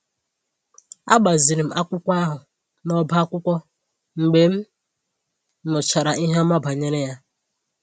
A gbaziiri m akwụkwọ ahụ n’ọ́bá akwụkwọ mgbe m nụchara ihe ọma banyere ya